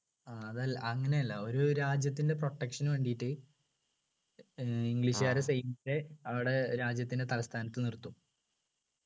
ആ അതൽ അങ്ങനെയല്ല ഒരു രാജ്യത്തിൻ്റെ protection നു വേണ്ടിയിട്ട് ഏർ english കാരെ സൈന്യത്തെ അവരുടെ രാജ്യത്തിൻ്റെ തലസ്ഥാനത്ത് നിർത്തും